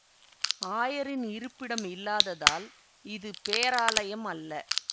ஆயரின் இருப்பிடம் இல்லாததால் இது பேராலயம் அல்ல